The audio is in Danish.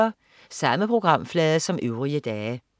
Samme programflade som øvrige dage